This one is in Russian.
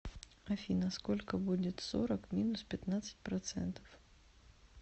афина сколько будет сорок минус пятьнадцать процентов